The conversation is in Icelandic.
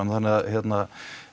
þannig að hérna